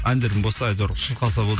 әндерің болса әйтеуір шырқалса болды